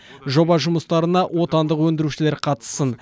жоба жұмыстарына отандық өндірушілер қатыссын